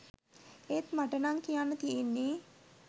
ඒත් මට නං කියන්න තියෙන්නේ